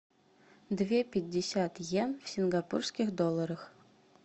две пятьдесят иен в сингапурских долларах